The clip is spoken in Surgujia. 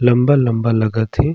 लम्बा -लम्बा लगत हे ।